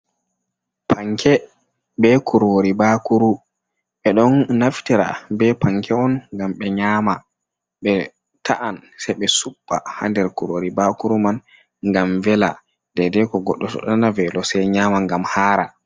Panke be kurori bakuru, ɓe ɗon naftira be panke’on ngam ɓe nyama, ɓe ta’an sei ɓe suɓɓa ha nder kurori bakuru man ngam vela, dei dei to goɗɗo ɗo nana velo sei nyama ngam hara.